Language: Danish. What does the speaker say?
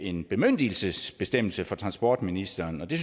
en bemyndigelsesbestemmelse fra transportministeren og det